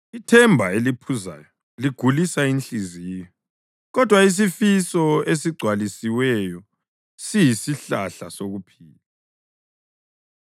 Ithemba eliphuzayo ligulisa inhliziyo, kodwa isifiso esigcwalisiweyo siyisihlahla sokuphila.